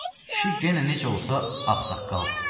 Kişi yenə necə olsa, ağsaqqaldı.